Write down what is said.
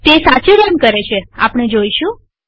તે સાચે એમ કરે છેઆપણે જોઈશું